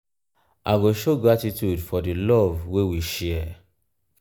i go show gratitude for di love wey we share.